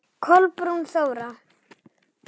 Kolbrún Þóra.